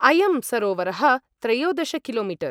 अयं सरोवरः त्रयोदश किलो मीटर ।